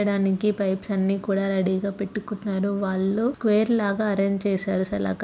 లకి పైప్స్ అన్నీ కూడా రెడీ గా పెట్టుకున్నారు వాళ్లు స్క్వేర్ లాగా అరేంజ్ చేశారు-- సలక.